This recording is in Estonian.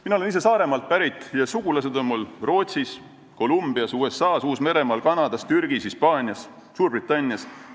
Mina olen ise Saaremaalt pärit ja sugulased on mul Rootsis, Kolumbias, USA-s, Uus-Meremaal, Kanadas, Türgis, Hispaanias, Suurbritannias.